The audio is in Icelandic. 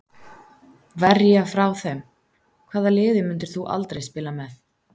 Verja frá þeim Hvaða liði myndir þú aldrei spila með?